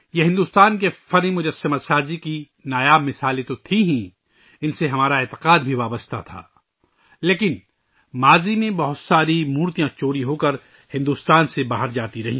یہ بھارت کی مورتی بنانے کے فن کی نایاب مثالیں تو ہی تھیں ، اِن سے ہماری عقیدت بھی جڑی ہوئی تھی لیکن ماضی میں، بہت سے مورتیاں چوری ہوکر بھارت سے باہر جاتی رہیں